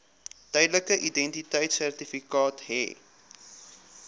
tydelike identiteitsertifikaat hê